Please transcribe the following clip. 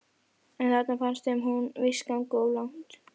En þarna fannst þeim hún víst ganga of langt.